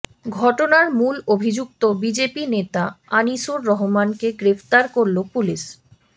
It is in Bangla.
ঘটনার মূল অভিযুক্ত বিজেপি নেতা আনিসুর রহমানকে গ্রেফতার করল পুলিশ